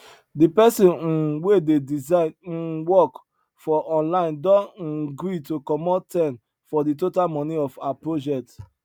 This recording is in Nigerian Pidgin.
di person um wey dey design um work for online don um gree to comot ten for the total money of her project